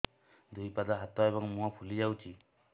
ଦୁଇ ପାଦ ହାତ ଏବଂ ମୁହଁ ଫୁଲି ଯାଉଛି